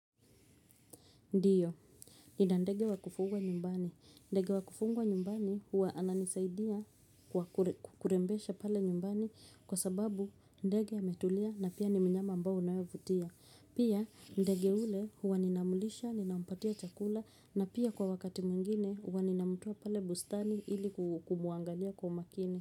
Ndiyo ninandege wa kufugwa nyumbani ndege wa kufungwa nyumbani huwa ananisaidia kwa kurembesha pale nyumbani kwa sababu ndege ametulia na pia ni mnyama ambao unaevutia pia ndege yule huwa ninamlisha ninampatia chakula na pia kwa wakati mwingine huwa ninamtoa pale bustani ili kumuangalia kwa makini.